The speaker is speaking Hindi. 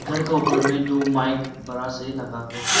घर का ऊपर में दो माइक बड़ा से लगा के है।